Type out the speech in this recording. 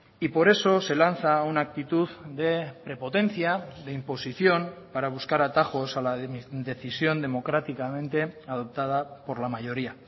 y por eso se lanza una actitud de prepotencia de imposición para buscar atajos a la decisión democráticamente adoptada por la mayoría